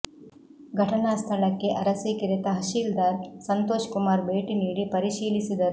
ಘಟನಾ ಸ್ಥಳಕ್ಕೆ ಅರಸೀಕೆರೆ ತಹಶೀಲ್ದಾರ್ ಸಂತೋಷ್ ಕುಮಾರ್ ಭೇಟಿ ನೀಡಿ ಪರಿಶೀಲಿಸಿದರು